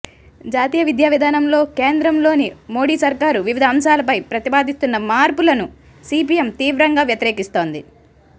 జాతీయ విద్యావిధానంలో కేంద్రంలోని మోడీ సర్కారు వివిధ అంశాలపై ప్రతిపాదిస్తున్న మార్పు లను సిపిఎం తీవ్రంగా వ్యతిరేకిస్తోంది